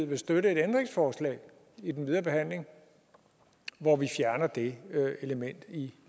vil støtte et ændringsforslag i den videre behandling hvor vi fjerner det element i